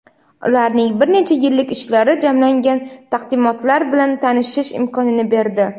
ularning bir necha yillik ishlari jamlangan taqdimotlar bilan tanishish imkonini berdi.